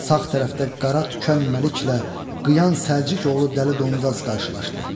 Sağ tərəfdə qara tükənməliklə qıyan səlcik oğlu dəli dondaz qarşılaşdı.